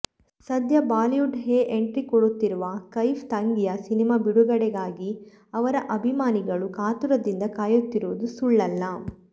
ಸದ್ಯ ಬಾಲಿವುಡ್ ಹೆ ಎಂಟ್ರಿ ಕೊಡುತ್ತಿರೋ ಕೈಫ್ ತಂಗಿಯ ಸಿನಿಮಾ ಬಿಡುಡೆಗಾಗಿ ಅವರ ಅಭಿಮಾನಿಗಳು ಕಾತುರದಿಂದ ಕಾಯುತ್ತಿರುವುದು ಸುಳ್ಳಲ್ಲ